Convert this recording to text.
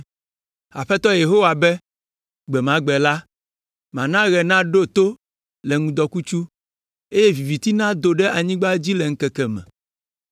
Aƒetɔ Yehowa be, “Gbe ma gbe la, mana ɣe naɖo to le ŋdɔkutsu, eye viviti nado ɖe anyigba dzi le ŋkeke me.